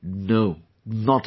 No...not at all